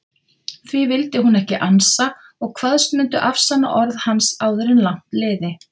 Því vildi hún ekki ansa og kvaðst mundu afsanna orð hans áður langt liði.